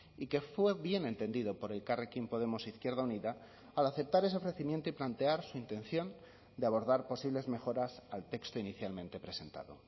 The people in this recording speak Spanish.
y que fue bien entendido por elkarrekin podemos izquierda unida al aceptar ese ofrecimiento y plantear su intención de abordar posibles mejoras al texto inicialmente presentado